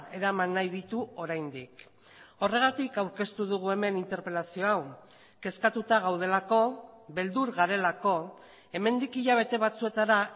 eraman nahi ditu oraindik horregatik aurkeztu dugu hemen interpelazio hau kezkatuta gaudelako beldur garelako hemendik hilabete batzuetara